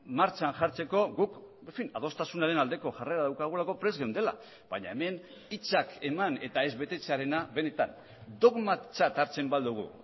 martxan jartzeko guk adostasunaren aldeko jarrera daukagulako prest geundela baina hemen hitzak eman eta ez betetzearena benetan dogmatzat hartzen badugu